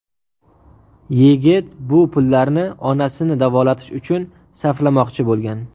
Yigit bu pullarni onasini davolatish uchun sarflamoqchi bo‘lgan.